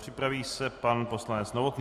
Připraví se pan poslanec Novotný.